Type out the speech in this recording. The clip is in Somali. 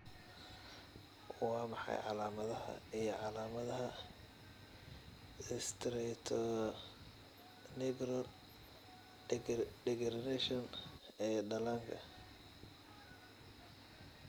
Waa maxay calamadaha iyo calamadaha Striatonigral degeneration ee dhallaanka?